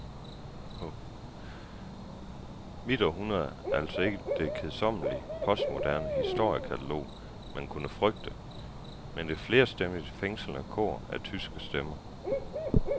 Mit århundrede er altså ikke det kedsommelige, postmoderne historiekatalog, man kunne frygte, men et flerstemmigt, fængslende kor af tyske stemmer.